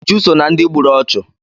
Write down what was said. Uju so ná ndị gburu ọchụ.